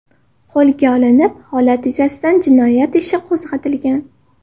qo‘lga olinib, holat yuzasidan jinoyat ishi qo‘zg‘atilgan.